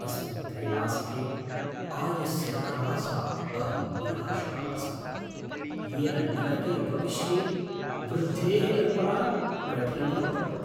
अस्मिन् त्रैमासिके आयस्य ह्रासात् अहं निराशः अस्मि, येन निकटे भविष्ये वृद्धेः कल्पना कठिना भवति।